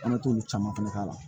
An bɛ t'olu caman fɛnɛ k'a la